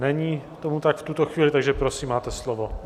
Není tomu tak v tuto chvíli, takže prosím, máte slovo.